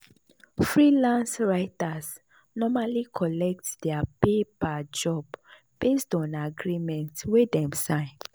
freelance writers normally collect their pay per job based on agreement wey dem sign.